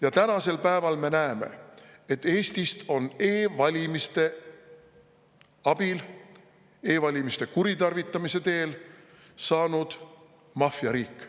Ja tänasel päeval me näeme, et Eestist on e-valimiste abil, e-valimiste kuritarvitamise teel saanud maffiariik.